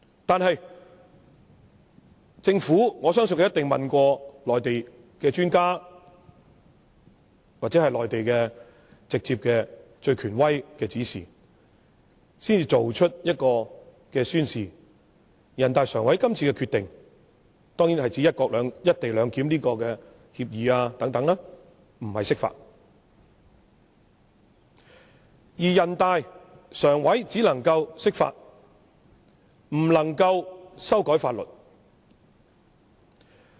但是，我相信政府一定問過內地的專家或內地最權威的指示，才作出宣示，即人大常委會這次有關"一地兩檢"的協議、安排等決定，並非釋法；而人大常委會只能釋法，不能修改法律。